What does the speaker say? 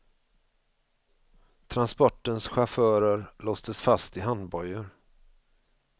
Transportens chaufförer låstes fast i handbojor.